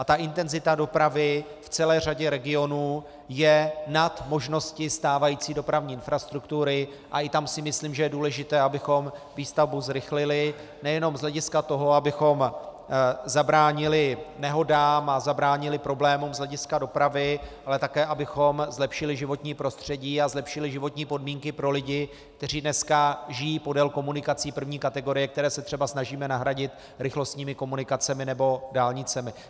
A ta intenzita dopravy v celé řadě regionů je nad možnosti stávající dopravní infrastruktury a i tam si myslím, že je důležité, abychom výstavbu zrychlili nejenom z hlediska toho, abychom zabránili nehodám a zabránili problémům z hlediska dopravy, ale také abychom zlepšili životní prostředí a zlepšili životní podmínky pro lidi, kteří dneska žijí podél komunikací první kategorie, které se třeba snažíme nahradit rychlostními komunikacemi nebo dálnicemi.